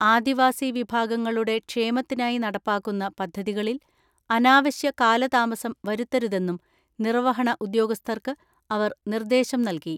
ആദിവാസി വിഭാഗങ്ങളുടെ ക്ഷേമത്തിനായി നടപ്പാക്കുന്ന പദ്ധതികളിൽ അനാവശ്യ കാലതാമസം വരുത്തരുതെന്നും നിർവ്വഹണ ഉദ്യോഗസ്ഥർക്ക് അവർ നിർദ്ദേശം നൽകി.